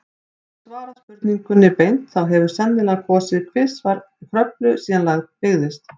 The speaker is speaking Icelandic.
Til að svara spurningunni beint, þá hefur sennilega gosið tvisvar í Kröflu síðan land byggðist.